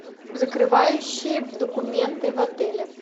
закрывающие документы в отеле